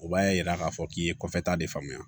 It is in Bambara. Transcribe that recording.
O b'a yira k'a fɔ k'i ye kɔfɛta de faamuya